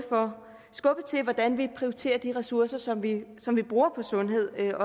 skubbe til hvordan vi prioriterer de ressourcer som vi som vi bruger på sundhed her